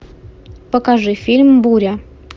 покажи фильм буря